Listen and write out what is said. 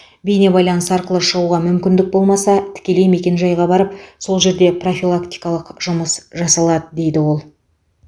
бейнебайланыс арқылы шығуға мүмкіндік болмаса тікелей мекенжайға барып сол жерде профилактикалық жұмыс жасалады дейді ол